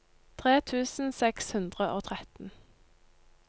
tre tusen seks hundre og tretten